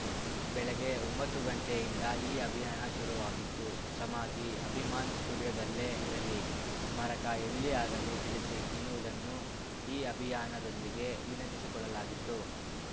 ಬೆಳಗ್ಗೆ ಒಂಬತ್ತು ಗಂಟೆಯಿಂದ ಈ ಅಭಿಯಾನ ಶುರುವಾಗಿತ್ತು ಸಮಾಧಿ ಅಭಿಮಾನ್‌ ಸ್ಟುಡಿಯೋದಲ್ಲೇ ಇರಲಿ ಸ್ಮಾರಕ ಎಲ್ಲಿ ಆಗಲಿ ತಿಳಿಸಿ ಎನ್ನುವುದನ್ನು ಈ ಅಭಿಯಾನದೊಂದಿಗೆ ವಿನಂತಿಸಿಕೊಳ್ಳಲಾಗಿತ್ತು